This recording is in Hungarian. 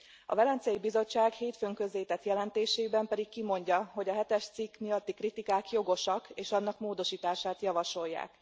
A Velencei Bizottság hétfőn közzétett jelentésében pedig kimondja, hogy a hetes cikk miatti kritikák jogosak, és annak módosítását javasolják.